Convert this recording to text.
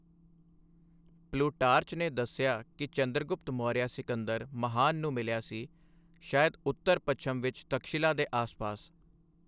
Plutarch ਨੇ ਦੱਸਿਆ ਕਿ ਚੰਦਰਗੁਪਤ ਮੌਰੀਆ ਸਿਕੰਦਰ ਮਹਾਨ ਨੂੰ ਮਿਲਿਆ ਸੀ, ਸ਼ਾਇਦ ਉੱਤਰ ਪੱਛਮ ਵਿੱਚ ਤਖ਼ਸੀਲਾ ਦੇ ਆਸ ਪਾਸ।